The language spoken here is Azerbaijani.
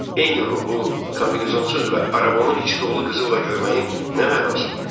Eyni ruhu kombinasonsuz və arabanın içi dolu qızılla görməyin nə mənası var?